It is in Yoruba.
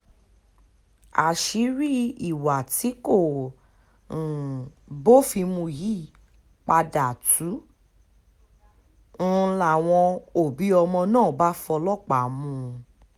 àṣírí ìwà tí kò um bófin mu yìí padà tú um ń láwọn òbí ọmọ náà bá fọlọ́pàá mú un